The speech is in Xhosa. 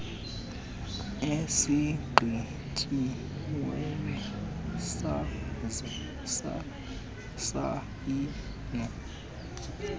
esigqityiweyo saze sasayinwa